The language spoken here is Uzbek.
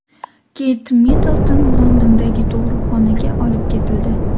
Keyt Middlton Londondagi tug‘uruqxonaga olib ketildi.